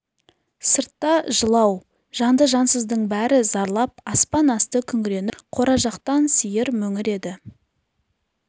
сырт та жылау жанды-жансыздың бәрі зарлап аспан асты күңіреніп тұр қора жақтан сиыр мөңіреді